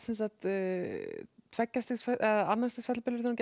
tveggja stigs fellibylur þegar